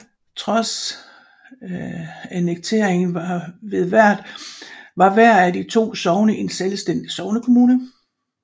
Trods annekteringen var hvert af de to sogne en selvstændig sognekommune